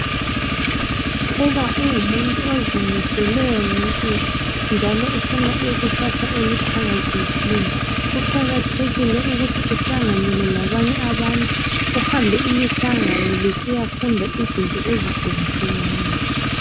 Uba ungumuntu ozimiseleyo ngempilo njalo ufuna ukuba lekusasa eliqhakazekileyo kuqakathekile uhlanganele labanye abantu uhambe imihlangano lisiyafunda izinto ezuhlukahlukeneyo